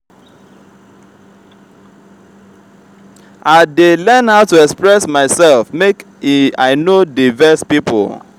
i dey learn how to express myself make i no dey vex pipo.